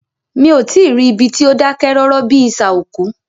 Mí o tí ì rí ibi tí o dákẹ́ rọ́rọ́ bíi isà òkú.